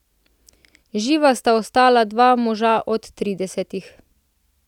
Živa sta ostala dva moža od tridesetih.